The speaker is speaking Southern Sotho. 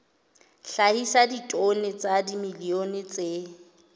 hlahisa ditone tsa dimilione tse